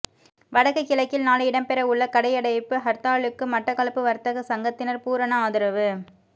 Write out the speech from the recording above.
வடக்கு கிழக்கில் நாளை இடம்பெறவுள்ள கடையடைப்புக் ஹர்த்தாலுக்கு மட்டக்களப்பு வர்த்தக சங்கத்தினர் பூரண ஆதரவு